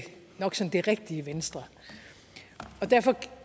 rigtige venstre derfor kan